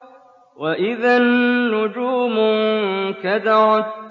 وَإِذَا النُّجُومُ انكَدَرَتْ